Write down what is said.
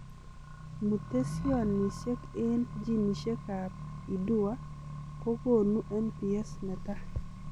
Mutesionisiek eng ginisiek ap IDUA kokonui MPS netai.